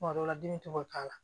Kuma dɔ la dimi tɛ to ka k'a la